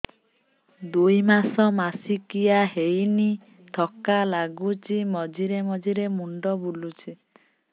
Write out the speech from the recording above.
ଦୁଇ ମାସ ମାସିକିଆ ହେଇନି ଥକା ଲାଗୁଚି ମଝିରେ ମଝିରେ ମୁଣ୍ଡ ବୁଲୁଛି